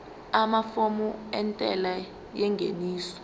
amafomu entela yengeniso